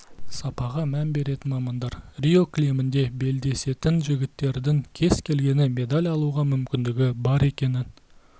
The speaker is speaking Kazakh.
сапаға мән беретін мамандар рио кілемінде белдесетін жігіттердің кез келгені медаль алуға мүмкіндігі бар екенін